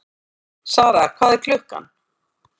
Sara, hvað er klukkan?